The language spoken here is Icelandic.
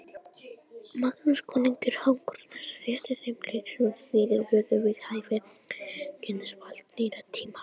Magnús konungur Hákonarson setti þeim lög sem sniðin voru við hæfi konungsvalds nýrra tíma.